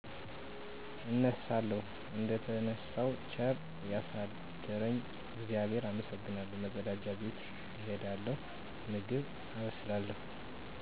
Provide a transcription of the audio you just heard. እነሣለሁ። እደተነሣው ቸር ያሣደረኝን እግዚአብሔር አመሠግናለሁ፤ መፀዳጃ ቤት እሄዳለሁ፤ ምግብ አበስላለሁ።